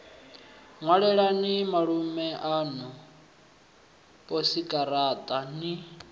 ṅwalelani malume aṋu posikaraṱa ni